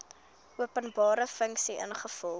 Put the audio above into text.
openbare funksie ingevolge